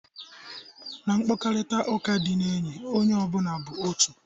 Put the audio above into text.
Na mkparịta ụka ndị enyi, onye ọbụna bụ otu.